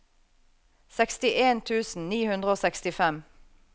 sekstien tusen ni hundre og sekstifem